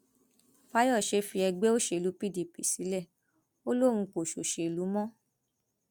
fàyọṣe fi ẹgbẹ òṣèlú pdp sílẹ ó lóun kò ṣòṣèlú mọ